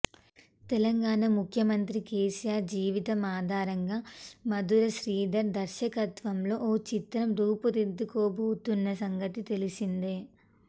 తెలంగాణ ముఖ్యమంత్రి కేసీఆర్ జీవితం ఆధారంగా మధుర శ్రీధర్ దర్శకత్వంలో ఓ చిత్రం రూపుదిద్దుకోబోతున్న సంగతి తెలిసిందే